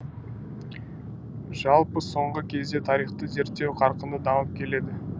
жалпы соңғы кезде тарихты зерттеу қарқынды дамып келеді